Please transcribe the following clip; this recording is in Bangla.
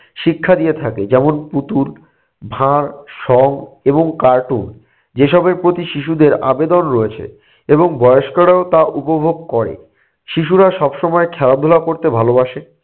শিক্ষা দিয়ে থাকে যেমন পুতুল, ভাঁড়, সং এবং cartoon যেসবের প্রতি শিশুদের আবেদন রয়েছে এবং বয়স্করাও তা উপভোগ করে। শিশুরা সবসময় খেলাধুলা করতে ভালোবাসে।